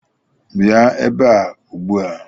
Bịa ebe a ugbu a!